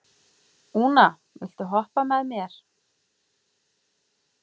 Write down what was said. Úna, viltu hoppa með mér?